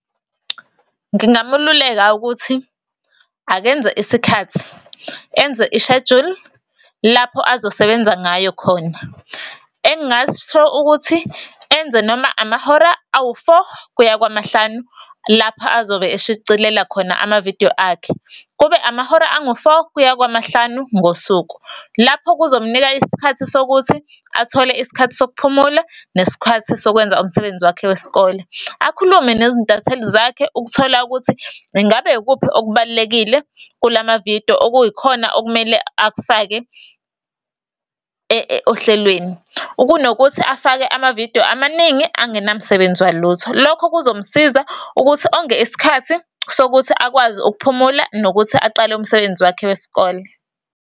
Ngingamululeka ukuthi, akenze isikhathi, enze ishejuli, lapho azosebenza ngayo khona. Engingasho ukuthi enze noma amahora awu-four, kuya kwamahlanu, lapha azobe eshicilela khona amavidiyo akhe. Kube amahora angu-four, kuya kwamahlanu ngosuku. Lapho kuzomnika isikhathi sokuthi athole isikhathi sokuphumula, nesikhathi sokwenza umsebenzi wakhe wesikole. Akhulume nezintatheli zakhe, ukuthola ukuthi ingabe ikuphi okubalulekile kulamavidiyo, okuyikhona okumele akufake ohlelweni, kunokuthi afake amavidiyo amaningi, angenamsebenzi walutho. Lokho kuzomsiza ukuthi onge isikhathi sokuthi akwazi ukuphumula, nokuthi aqale umsebenzi wakhe wesikole.